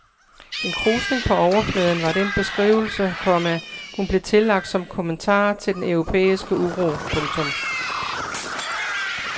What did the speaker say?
En krusning på overfladen var den beskrivelse, komma hun blev tillagt som kommentar til den europæiske uro. punktum